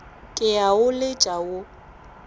ke a o letša wo